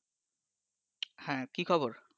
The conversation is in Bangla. হ্যাঁ, কি খবর?